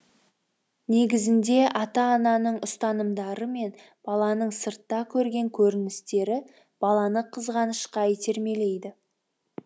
негізінде ата ананың ұстанымдары мен баланың сыртта көрген көріністері баланы қызғанышқа итермелейді